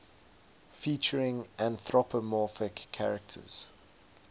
featuring anthropomorphic characters